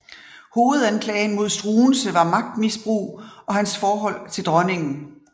Hovedanklagen mod Struensee var magtmisbrug og hans forhold til dronningen